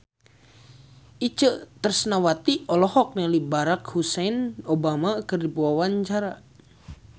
Itje Tresnawati olohok ningali Barack Hussein Obama keur diwawancara